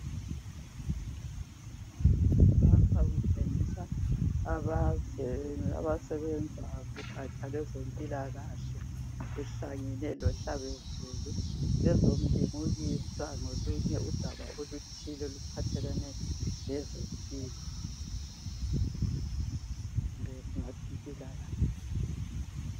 Lapha kutshengisa abasebenza kugatsha lwezempilakahle behlangene lohlabezulu bezolimukisa ngolunye udaba oluthile oluphathelane lezempilo kumbe mpilakahle.